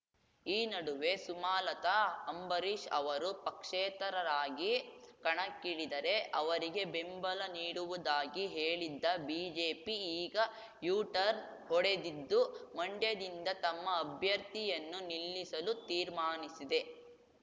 ಈ ನಡುವೆ ಸುಮಾಲತಾ ಅಂಬರೀಷ್ ಅವರು ಪಕ್ಷೇತರರಾಗಿ ಕಣಕ್ಕಿಳಿದರೆ ಅವರಿಗೆ ಬೆಂಬಲ ನೀಡುವುದಾಗಿ ಹೇಳಿದ್ದ ಬಿಜೆಪಿ ಈಗ ಯುಟರ್ನ್ ಹೊಡೆದಿದ್ದು ಮಂಡ್ಯದಿಂದ ತಮ್ಮ ಅಭ್ಯರ್ಥಿಯನ್ನು ನಿಲ್ಲಿಸಲು ತೀರ್ಮಾನಿಸಿದೆ